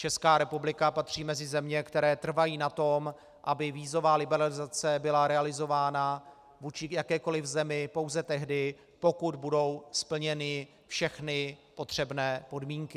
Česká republika patří mezi země, které trvají na tom, aby vízová liberalizace byla realizována vůči jakékoliv zemi pouze tehdy, pokud budou splněny všechny potřebné podmínky.